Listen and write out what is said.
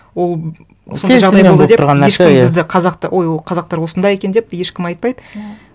ол ешкім бізді қазақты ой ол қазақтар осындай екен деп ешкім айтпайды ну